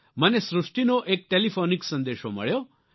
મને સૃષ્ટીનો એક ટેલિફોનીક સંદેશો મળ્યો